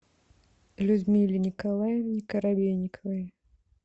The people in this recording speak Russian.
людмиле николаевне коробейниковой